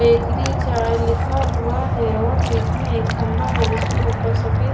bakery चाय लिखा हुआ है और बीच में एक खंबा है जिसमें ऊपर सफेद--